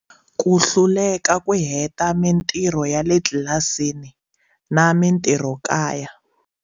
Ku hluleka ku heta mitirho ya le tlilasini na mitirhokaya.